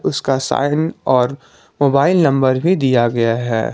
उसका साइन और mobile number भी दिया गया है।